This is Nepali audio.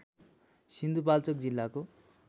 सिन्धुपाल्चोक जिल्लाको